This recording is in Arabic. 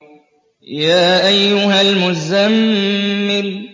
يَا أَيُّهَا الْمُزَّمِّلُ